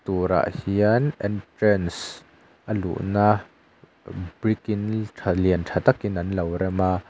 turah hian entrance a luhna brick in tha lian tha takin an lo rem a.